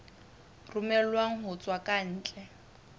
romellwang ho tswa ka ntle